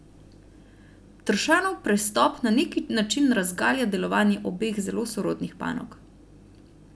Tršanov prestop na neki način razgalja delovanje obeh zelo sorodnih panog.